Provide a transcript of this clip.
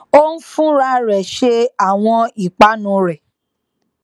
ó n fúnra rè ṣe àwọn ìpanu rẹ